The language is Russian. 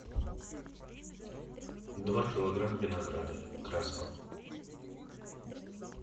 два килограмма винограда красного